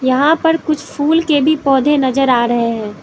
यहाँ पर कुछ फूल के भी पौधे नजर आ रहे हैं।